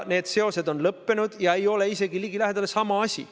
Need seosed on lõppenud ja tegu ei ole isegi ligilähedaselt sama asjaga.